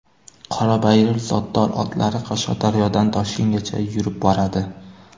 Qorabayir zotdor otlari Qashqadaryodan Toshkentgacha yurib boradi.